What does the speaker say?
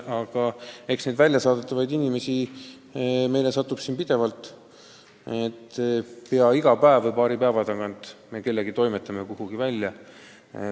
Aga eks neid väljasaadetavaid inimesi satub meile pidevalt: pea iga päev või paari päeva tagant me toimetame kellegi kuhugi välja.